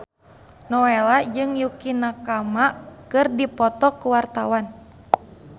Nowela jeung Yukie Nakama keur dipoto ku wartawan